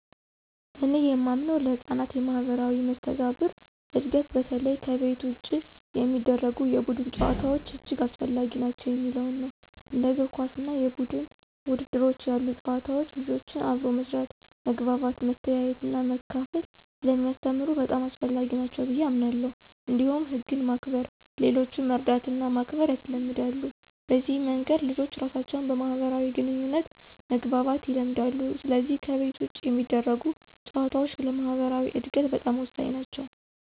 እኔ የማምነው ለሕፃናት የማኅበራዊ መስተጋብር እድገት በተለይ ከቤት ውጭ የሚደረጉ የቡድን ጨዋታዎች እጅግ አስፈላጊ ናቸው የሚለው ነው። እንደ እግር ኳስ እና የቡድን ውድድሮች ያሉ ጨዋታዎች ልጆችን አብሮ መስራት፣ መግባባት፣ መተያየትና መካፈል ስለሚያስተምሩ በጣም አስፈላጊ ናቸው ብየ አምናለሁ። እንዲሁም ህግን ማክበር፣ ሌሎችን መርዳትና ማክበር ያስለምዳሉ። በዚህ መንገድ ልጆች ራሳቸውን በማህበራዊ ግንኙነት መግባባት ይለምዳሉ፣ ስለዚህ ከቤት ውጭ የሚደረጉ ጨዋታዎች ለማኅበራዊ እድገታቸው በጣም ወሳኝ ናቸው።